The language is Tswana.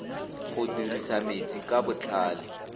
go dirisa metsi ka botlhale